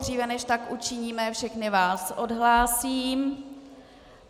Dříve než tak učiníme, všechny vás odhlásím.